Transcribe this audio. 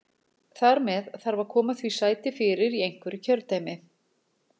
Þar með þarf að koma því sæti fyrir í einhverju kjördæmi.